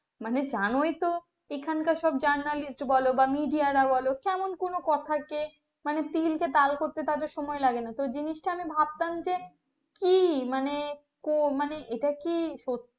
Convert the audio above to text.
মানে জানোই তো এখানকার সব Journalist বলো বা media রা বলো কেমন কোনো কথা কে তিল কে তাল করতে সময় লাগে না তো জিনিসটা ভাবতাম যে কি মানে ক এটা কি সত্যি?